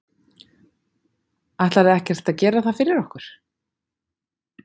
Ætlarðu ekkert að gera það fyrir okkur?